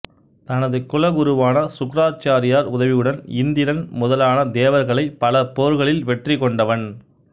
தனது குலகுருவான சுக்கிராச்சாரியார் உதவியுடன் இந்திரன் முதலான தேவர்களைப் பல போர்களில் வெற்றி கொண்டவன்